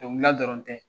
Dɔnkilida dɔrɔn tɛ